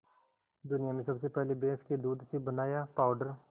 दुनिया में सबसे पहले भैंस के दूध से बनाया पावडर